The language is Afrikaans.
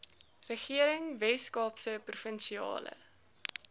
regering weskaapse provinsiale